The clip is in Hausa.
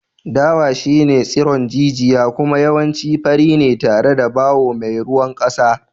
Dawa shine tsiron jijiya kuma yawanci fari ne tare da bawo mai ruwan kasa.